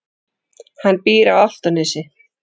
Hann býr á Álftanesi.